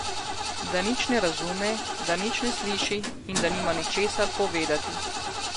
Da nič ne razume, da nič ne sliši in da nima ničesar povedati.